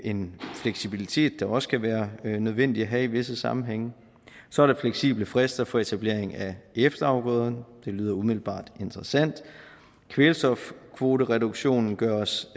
en fleksibilitet det også kan være nødvendigt til at have i visse sammenhænge så er der fleksible frister for etablering af efterafgrøderne det lyder umiddelbart interessant kvælstofkvotereduktionen gøres